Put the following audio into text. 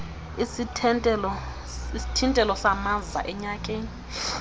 isithintelo samaza enyakeni